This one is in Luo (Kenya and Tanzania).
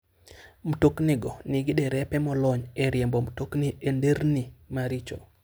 Mtoknigo nigi derepe molony e riembo mtokni e nderni maricho.